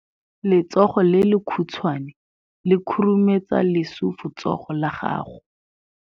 Letsogo le lekhutshwane le khurumetsa lesufutsogo la gago.